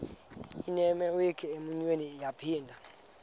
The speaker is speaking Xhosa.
inewenkwe umnwe yaphinda